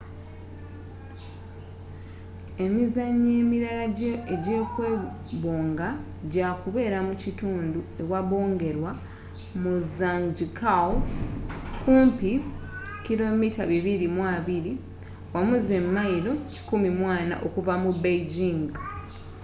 emizannyo emirala egy'okwebonga gyakubeera mu kitundu ewabongerwa mu zhangjiakou kumpi 220km mayilo 140 okuva mu beijing